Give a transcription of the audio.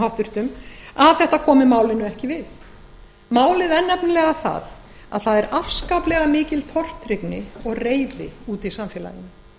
háttvirta að þetta komi málinu ekki við málið er nefnilega það að það er afskaplega mikil tortryggni og reiði úti í samfélaginu